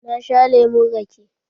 Na sha lemon rake.